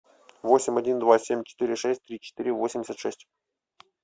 восемь один два семь четыре шесть три четыре восемьдесят шесть